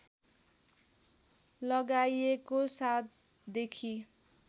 लगाइएको ७ देखि